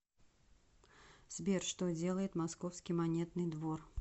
сбер что делает московский монетный двор